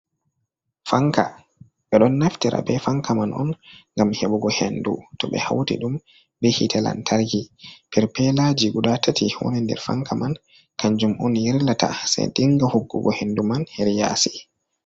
Fanka, ɓe ɗo naftira bee fanka man gam heɓugo henndu, to ɓe hawti ɗum bee yi'ite lantarki. Perpeelaaji gudaa tati woni nder fanka on ma, ganjum man on yirlata sai dinga hokkugo henndu man hedi yaasi.